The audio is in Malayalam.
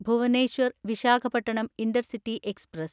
Bhubaneswar Visakhapatnam intercity express